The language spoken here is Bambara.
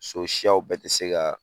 So siyaw bɛɛ ti se ka